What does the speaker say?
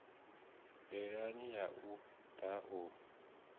ndilani ya u da u